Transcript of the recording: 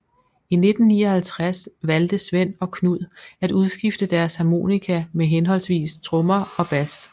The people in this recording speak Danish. I 1959 valgte Svend og Knud at udskifte deres harmonika med henholdsvis trommer og bas